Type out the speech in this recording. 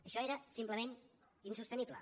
això era simplement insostenible